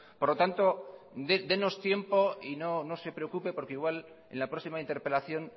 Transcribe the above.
por lo tanto dénos tiempo y no se preocupe porque igual en la próxima interpelación